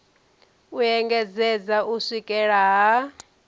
u engedzedza u swikela ha